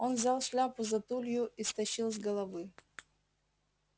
он взял шляпу за тулью и стащил с головы